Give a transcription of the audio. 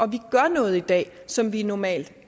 vi gør noget i dag som vi normalt